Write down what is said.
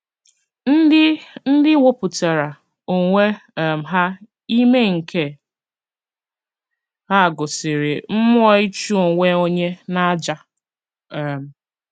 Ndị Ndị wepụtara onwe um ha ime nke a gosiri mmụọ ịchụ onwe onye n’àjà um.